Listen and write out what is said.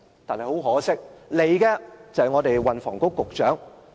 但很可惜，前來立法會的卻是運房局局長。